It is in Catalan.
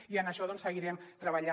i en això doncs seguirem treballant